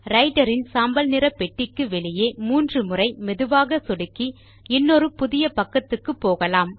writer இன் சாம்பல் நிற பெட்டிக்கு வெளியே மூன்று முறை மெதுவாக சொடுக்கி இன்னொரு புதிய பக்கத்துக்கு போகலாம்